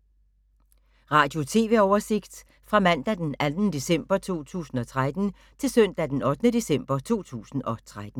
Radio/TV oversigt fra mandag d. 2. december 2013 til søndag d. 8. december 2013